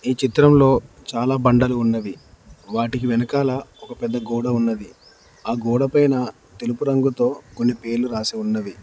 ఈ చిత్రంలో చాలా బండలు ఉన్నవి వాటికి వెనకాల ఒక పెద్ద గోడ ఉన్నది ఆ గోడ పైన తెలుపు రంగుతో కొన్ని పేర్లు రాసి ఉన్నవి.